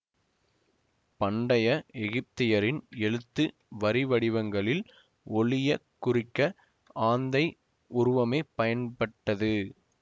பண்டைய எகிப்தியரின் எழுத்து வரிவடிவங்களில் ஒலியக் குறிக்க ஆந்தை உருவமே பயன்பட்டது